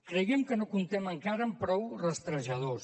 creiem que no comptem encara amb prou rastrejadors